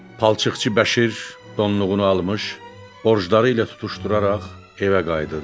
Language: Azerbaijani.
Palçıqçı Bəşir donluğunu almış, borcları ilə tutuşduraraq evə qayıdırdı.